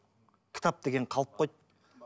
кітап деген қалып қойды